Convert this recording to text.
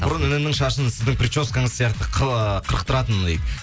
бұрын інімнің шашын сіздің прическаңыз сияқты ы қырықтыратынмын дейді